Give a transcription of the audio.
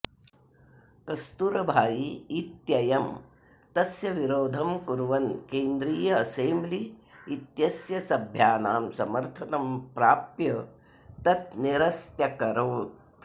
कस्तूरभाई इत्ययं तस्य विरोधं कुर्वन् केन्द्रीय असेम्ब्लि इत्यस्य सभ्यानां समर्थनं प्राप्य तत् निरस्त्यकरोत्